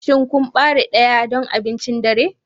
Shin kun bare daya don abincin dare?